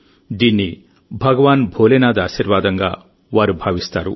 దీన్ని భగవాన్ భోలేనాథ్ ఆశీర్వాదంగా వారు భావిస్తారు